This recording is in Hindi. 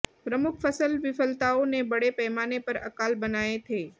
प्रमुख फसल विफलताओं ने बड़े पैमाने पर अकाल बनाए थे